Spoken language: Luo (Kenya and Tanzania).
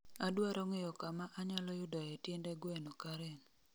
Adwaro ng'eyo kama anyalo yudoe tiende gweno karen